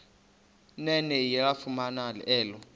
nene yalifumana elo